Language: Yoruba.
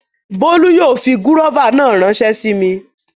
Bólú yóò fi gúróvà náà ránsẹ́ sí mi